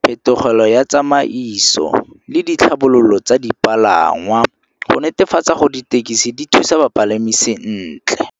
phetolelo ya tsamaiso le ditlhabololo tsa dipalangwa go netefatsa go ditekisi di thusa ba palami sentle.